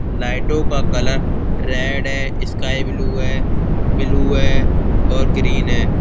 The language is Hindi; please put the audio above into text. लाइटों का कलर रेड है स्काई ब्लू है ब्लू है और ग्रीन है।